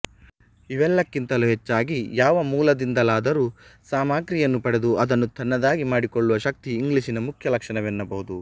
ಇವೆಲ್ಲಕ್ಕಿಂತಲೂ ಹೆಚ್ಚಾಗಿ ಯಾವ ಮೂಲದಿಂದಲಾದರೂ ಸಾಮಗ್ರಿಯನ್ನು ಪಡೆದು ಅದನ್ನು ತನ್ನದಾಗಿ ಮಾಡಿಕೊಳ್ಳುವ ಶಕ್ತಿ ಇಂಗ್ಲಿಷಿನ ಮುಖ್ಯ ಲಕ್ಷಣವೆನ್ನಬಹುದು